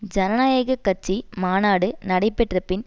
ஜனநாயக கட்சி மாநாடு நடைபெற்ற பின்